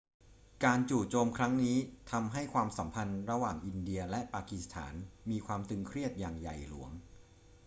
การจู่โจมครั้งนี้ทำให้ความสัมพันธ์ระหว่างอินเดียและปากีสถานมีความตึงเครียดอย่างใหญ่หลวง